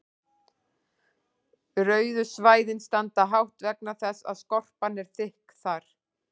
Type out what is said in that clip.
rauðu svæðin standa hátt vegna þess að skorpan er þykk þar